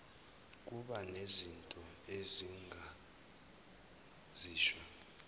kuba nezinto engingazisho